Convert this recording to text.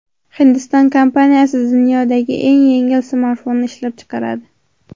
Hindiston kompaniyasi dunyodagi eng yengil smartfonni ishlab chiqaradi.